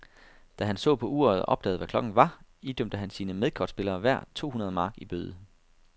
Da han så på uret og opdagede, hvad klokken var, idømte han sine medkortspillere hver to hundrede mark i bøde.